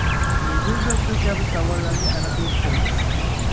Meduza shu kabi savollarga aniqlik kiritadi .